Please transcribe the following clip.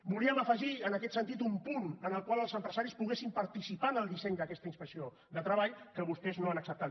volíem afegir en aquest sentit un punt en el qual els empresaris poguessin participar en el disseny d’aquesta inspecció de treball que vostès no han acceptat